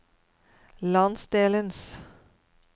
landsdelens